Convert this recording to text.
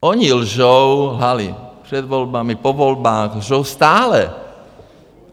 Oni lžou, lhali před volbami, po volbách, lžou stále.